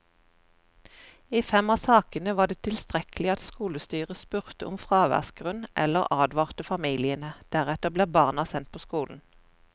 I fem av sakene var det tilstrekkelig at skolestyret spurte om fraværsgrunn eller advarte familiene, deretter ble barna sendt på skolen.